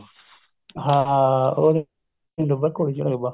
ਹਾਂ ਉਹ ਦਿਨ ਡੁੱਬਾ ਜਦੋਂ ਘੋੜੀ ਚੜਿਆ ਕੁੱਬਾ